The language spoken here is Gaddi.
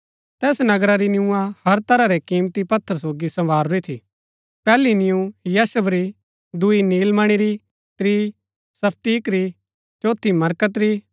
तैस नगरा री नियुआं हर तरह रै किमती पत्थर सोगी सँवारूरी थी पैहली नियुअं यशब री दूई नीलमणी री त्रीं स्फटिक री चौथी मरकत री